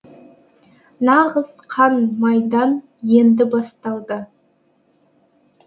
нағыз қан майдан енді басталды